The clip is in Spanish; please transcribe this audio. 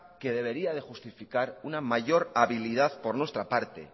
que debería de justificar una mayor habilidad por nuestra parte